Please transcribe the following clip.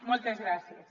moltes gràcies